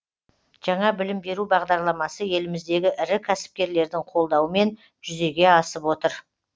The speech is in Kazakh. жаңа білім беру бағдарламасы еліміздегі ірі кәсіпкерлердің қолдауымен жүзеге асып отыр